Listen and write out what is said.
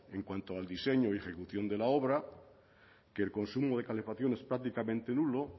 en cuanto al diseño y ejecución de la obra que el consumo de calefacción es prácticamente nulo